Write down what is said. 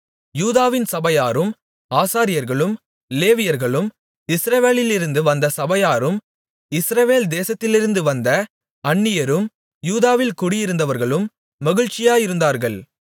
யூதாவின் சபையாரும் ஆசாரியர்களும் லேவியர்களும் இஸ்ரவேலிலிருந்து வந்த சபையாரும் இஸ்ரவேல் தேசத்திலிருந்து வந்த அந்நியரும் யூதாவில் குடியிருந்தவர்களும் மகிழ்ச்சியாயிருந்தார்கள்